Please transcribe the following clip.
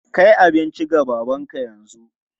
Kai abinci ga babanka yanzu!